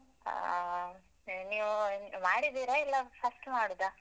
ಆ ನೀವು ಮಾಡಿದೀರಾ ಇಲ್ಲ first ಮಾಡುದಾ?